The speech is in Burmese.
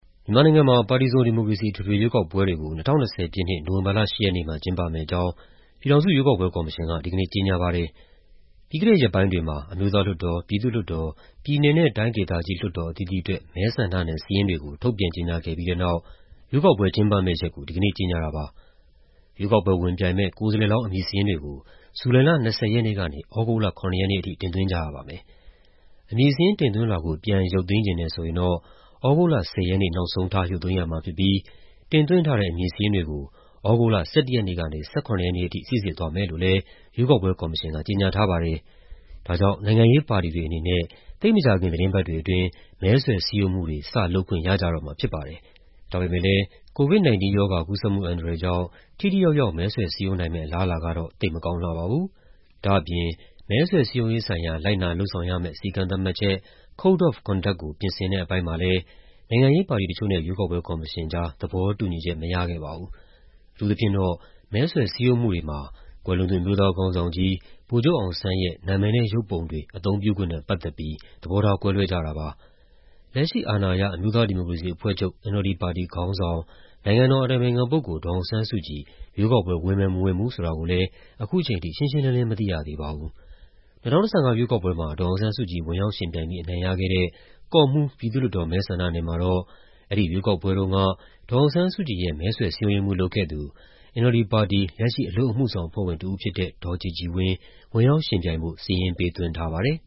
မြန်မာနိုင်ငံမှာ ပါတီစုံ ဒီမိုကရေစီ အထွေထွေရွေးကောက်ပွဲတွေကို ၂၀၂၀ ပြည့်နှစ် နိုဝင်ဘာလ ၈ ရက်နေ့မှာ ကျင်းပမယ့်အကြောင်း ပြည်ထောင်စုရွေးကောက်ပွဲကော်မရှင်က ဒီကနေ့ ကြေညာပါတယ်။ ပြီးခဲ့တဲ့ရက်ပိုင်းတွေမှာ အမျိုးသားလွှတ်တော်၊ ပြည်သူ့လွှတ်တော်၊ ပြည်နယ်နဲ့တိုင်းဒေသကြီးလွှတ်တော် အသီးသီးအတွက် မဲဆန္ဒနယ်စာရင်းတွေကို ထုတ်ပြန်ကြေညာခဲ့ပြီးတဲ့နောက် ရွေးကောက်ပွဲကျင်းပမယ့်ရက်ကို ဒီကနေ့ ကြေညာတာပါ။ ရွေးကောက်ပွဲဝင်ပြိုင်မယ့် ကိုယ်စားလှယ်လောင်း အမည်စာရင်းတွေကို ဇူလိုင်လ ၂၀ ရက်နေ့ကနေ သြဂုတ်လ ၇ ရက်နေ့ထိ တင်သွင်းကြရပါမယ်။ အမည်စာရင်းတင်သွင်းလွှာကို ပြန်ရုပ်သိမ်းချင်တယ်ဆိုရင် သြဂုတ်လ ၁၀ ရက်နေ့ နောက်ဆုံးထား ရုပ်သိမ်းရမှာဖြစ်ပြီး တင်သွင်းထားတဲ့ အမည်စာရင်းတွေကိုတော့ သြဂုတ်လ ၁၁ ရက်နေ့ကနေ ၁၇ ရက်နေ့အထိ စိစစ်သွားမယ်လို့လည်း ရွေးကောက်ပွဲကော်မရှင်က ကြေညာထားပါတယ်။ ဒါကြောင့် နိုင်ငံရေးပါတီတွေအနေနဲ့ သိပ်မကြာခင် သီတင်းပတ်တွေအတွင်း မဲဆွယ်စည်းရုံးမှုတွေ စလုပ်ခွင့် ရကြတော့မှာဖြစ်ပါတယ်။ ဒါပေမဲ့လည်း COVID-19 ရောဂါ ကူးစက်မှုအန္တရာယ်ကြောင့် ထိထိရောက်ရောက် မဲဆွယ်စည်းရုံးနိုင်မယ့် အလားအလာကတော့ သိပ်မကောင်းလှပါဘူး။ ဒါ့အပြင် မဲဆွယ်စည်းရုံးရေးဆိုင်ရာ လိုက်နာလုပ်ဆောင်ရမယ့် စည်းကမ်းသတ်မှတ်ချက် Code Of Conduct ကို ပြင်ဆင်တဲ့အပိုင်းမှာလည်း နိုင်ငံရေးပါတီတချို့နဲ့ ရွေးကောက်ပွဲကော်မရှင်ကြား သဘောတူညီချက်မရခဲ့ပါဘူး။ အထူးသဖြင့်တော့ မဲဆွယ်စည်းရုံးမှုတွေမှာ ကွယ်လွန်သူ အမျိုးသားခေါင်းဆောင်ကြီး ဗိုလ်ချုပ်အောင်ဆန်းရဲ့ နာမည်နဲ့ ရုပ်ပုံတွေ အသုံးပြုခွင့်နဲ့ ပတ်သက်ပြီး သဘောထားကွဲလွဲကြတာပါ။ လက်ရှိ အာဏာရ အမျိုးသားဒီမိုကရေစီအဖွဲ့ချုပ် NLD ပါတီခေါင်းဆောင် နိုင်ငံတော်အတိုင်ပင်ခံပုဂ္ဂိုလ် ဒေါ်အောင်ဆန်းစုကြည် ရွေးကောက်ပွဲ ဝင်မယ် မဝင်ဘူးဆိုတာကိုလည်း ခုချိန်ထိ ရှင်းရှင်းလင်းလင်း မသိရသေးပါဘူး။ ၂၀၁၅ ရွေးကောက်ပွဲမှာ ဒေါ်အောင်ဆန်းစုကြည် ဝင်ရောက်ယှဉ်ပြိုင်ပြီး အနိုင်ရခဲ့တဲ့ ကော့မှူး ပြည်သူ့လွှတ်တော် မဲဆန္ဒနယ်မှာတော့ အဲဒီရွေးကောက်ပွဲတုံးက ဒေါ်အောင်ဆန်းစုကြည်ရဲ့ မဲဆွယ်စည်းရုံးရေးမှူးလုပ်ခဲ့သူ NLD ပါတီရဲ့ လက်ရှိ အလုပ်အမှုဆောင်အဖွဲ့ဝင်တဦးဖြစ်တဲ့ ဒေါ်ကြည်ကြည်ဝင်း ဝင်ရောက်ယှဉ်ပြိုင်ဖို့ စာရင်းပေးသွင်းထားပါတယ်